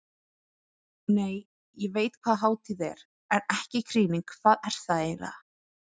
Nei, ég veit hvað hátíð er, en ekki krýning hvað er það eiginlega?